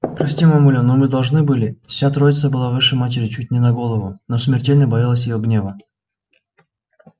прости мамуля но мы должны были вся троица была выше матери чуть не на голову но смертельно боялась её гнева